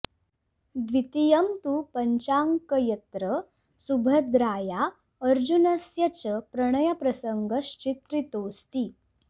द्वितीयं तु पञ्चाङ्क यत्र सुभद्राया अर्जुनस्य च प्रणयप्रसङ्गश्चित्रितोऽस्ति